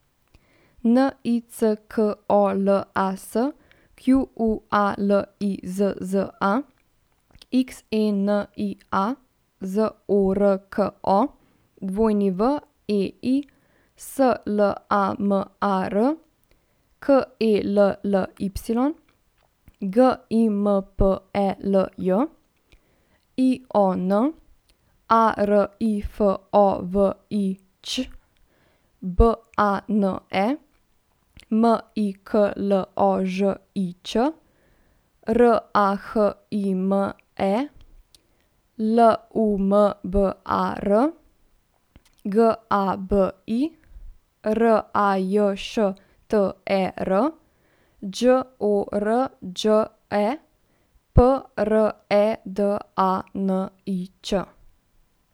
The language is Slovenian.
N I C K O L A S, Q U A L I Z Z A; X E N I A, Z O R K O; W E I, S L A M A R; K E L L Y, G I M P E L J; I O N, A R I F O V I Ć; B A N E, M I K L O Ž I Č; R A H I M E, L U M B A R; G A B I, R A J Š T E R; Đ O R Đ E, P R E D A N I Č.